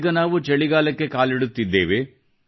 ಈಗ ನಾವು ಚಳಿಗಾಲಕ್ಕೆ ಕಾಲಿಡುತ್ತಿದ್ದೇವೆ